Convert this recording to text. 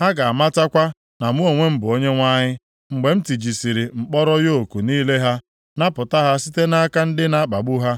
Ha ga-amatakwa na mụ onwe m bụ Onyenwe anyị, mgbe m tijasịrị mkpọrọ yoku niile ha, napụta ha site nʼaka ndị na-akpagbu ha.